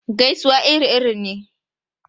Gaisuwa iri-iri ne.